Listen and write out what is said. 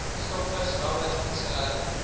stokvis langlyn vissery